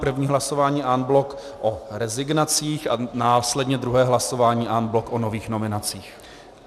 První hlasování en bloc o rezignacích a následně druhé hlasování en bloc o nových nominacích.